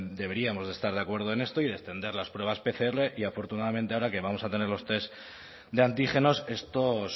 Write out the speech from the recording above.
deberíamos de estar de acuerdo en esto y de extender las pruebas pcr y afortunadamente ahora que vamos a tener los test de antígenos estos